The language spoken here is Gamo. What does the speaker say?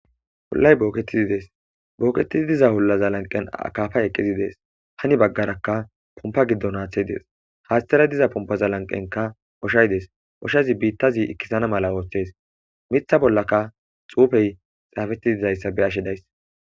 hollay booketizi dees booketizi diza hullaza lanqen akafa eqqizi dees hani baggarakka pompa giddon haaththe dees haastara diza pompaza lanqenka oshaydees oshazi biittazi ikkisana mala ooththes mitha bollaka xuufey xaafettiidayssa be ashedays